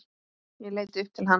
Ég leit upp til hans.